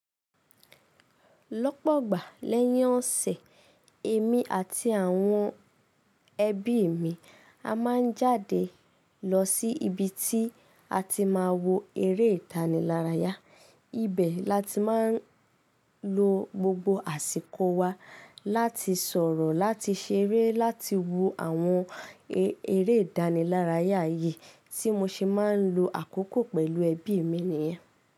Lọ́pọ̀gba, lẹ́yìn ọ̀sẹ̀, èmi àti àwọn ẹbí mi a máa n jáde lọ sí ibi tí a ti máa wo eré ìdánilárayá. Ibẹ̀ làti máa n lo gbogbo àsìkò wa láti sọ̀rọ̀, láti ṣeré, láti wo àwọn eré ìdánilarayá yìí tí mo se máa ń lo àkókò pẹ̀lú ẹbí mi nìyẹn.